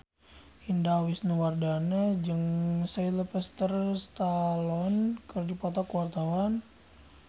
Indah Wisnuwardana jeung Sylvester Stallone keur dipoto ku wartawan